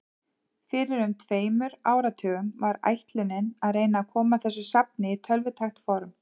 Fyrir um tveimur áratugum var ætlunin að reyna að koma þessu safni í tölvutækt form.